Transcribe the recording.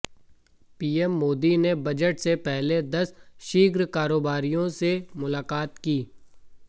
PM Modi ने budget से पहले दस शीर्ष कारोबारियों से मुलाकात की